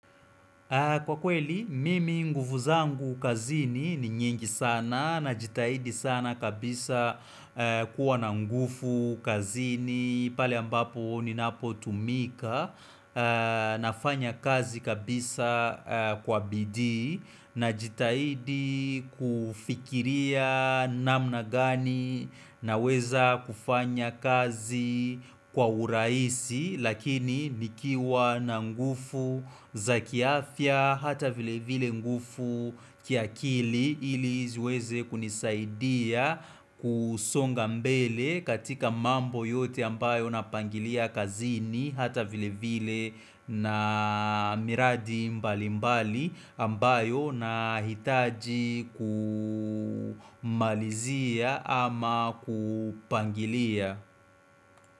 Kwa kweli, mimi nguvu zangu kazini ni nyingi sana najitahidi sana kabisa kuwa na nguvu kazini pale ambapo ninapotumika nafanya kazi kabisa kwa bidii najitahidi kufikiria namna gani naweza kufanya kazi kwa urahisi Lakini nikiwa na nguvu za kiafya hata vile vile nguvu kiakili ili ziweze kunisaidia kusonga mbele katika mambo yote ambayo napangilia kazini hata vile vile na miradi mbali mbali ambayo nahitaji kumalizia ama kupangilia.